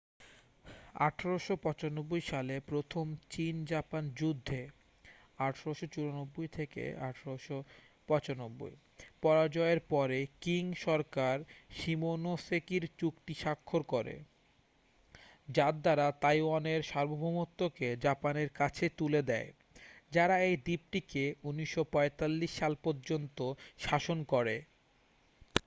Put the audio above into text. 1895 সালে প্রথম চীন-জাপান যুদ্ধে 1894-1895 পরাজয়ের পরে কিং সরকার শিমোনোসেকির চুক্তি স্বাক্ষর করে যার দ্বারা তাইওয়ানের সার্বভৌমত্বকে জাপানের কাছে তুলে দেয় যারা এই দ্বীপটিকে 1945 সাল পর্যন্ত শাসন করে।